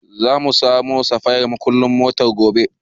Za mu samo safayan muƙullan motar gobe.